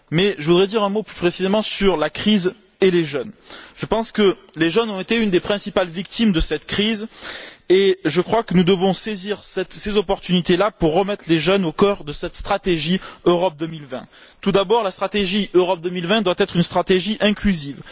Mais je voudrais dire un mot plus précisément sur la crise et les jeunes. Je pense que les jeunes ont été une des principales victimes de cette crise, et que nous devons saisir l'occasion qui nous est donnée pour remettre les jeunes au cœur de cette stratégie Europe 2020. Tout d'abord, la stratégie Europe 2020 doit être une stratégie inclusive.